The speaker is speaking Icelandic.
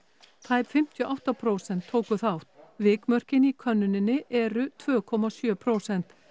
tæp fimmtíu og átta prósent tóku þátt vikmörkin í könnuninni eru tvö komma sjö prósent